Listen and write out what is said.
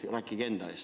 Rääkige enda eest.